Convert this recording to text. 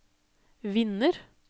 vinner